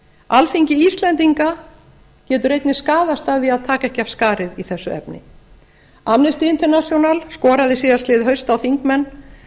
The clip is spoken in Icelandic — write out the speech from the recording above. alþingi íslendinga getur einnig skaðast af því að taka ekki af skarið í þessu efni amnesty international skoraði síðastliðið haust á þingmenn